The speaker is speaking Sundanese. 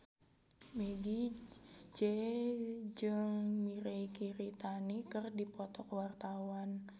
Meggie Z jeung Mirei Kiritani keur dipoto ku wartawan